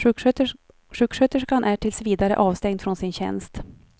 Sjuksköterskan är tills vidare avstängd från sin tjänst.